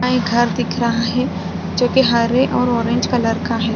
घर दिख रहा है जो की हरे और ऑरेंज कलर का है।